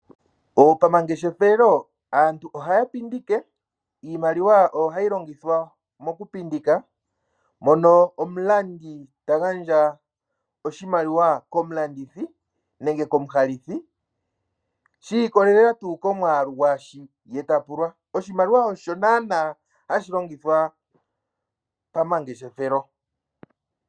Pomangeshefelo, aantu ohaya pindike. Iimaliwa oyo hayi longithwa mokupundika mono omulandi ta gandja oshimaliwa komulandithi nenge komuhalithi shi ikolelela tuu komwaalu gwaashi ta pulwa. Oshimaliwa osho naana hashi longithwa pomangeshefelo.